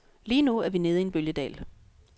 Lige nu er vi nede i en bølgedal.